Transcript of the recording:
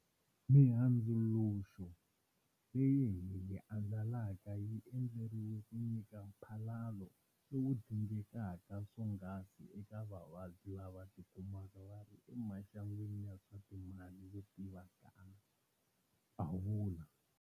Mihundzuluxo leyi hi yi andlalaka yi endleriwa ku nyika mphalalo lowu dingekaka swonghasi eka vavabyi lava tikumaka va ri emaxangwini ya swa timali yo tivikana, a vula.